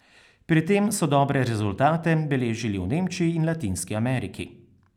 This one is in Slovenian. Pri tem so dobre rezultate beležili v Nemčiji in Latinski Ameriki.